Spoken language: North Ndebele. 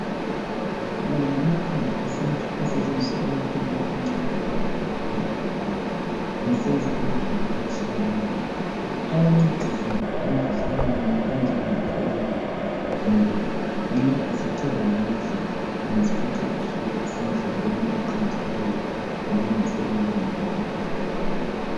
La ngama khamba esintu asetshenziswa ikakhulu ngabantu nxa bepheka besenza ukudla okutshiyeneyo ayancedisa emkhuhlaneni enjengo fuba ngoba nxa esethe wadla uyazifica ususendleleni eqondileyo ekulungiseleni impilo yakho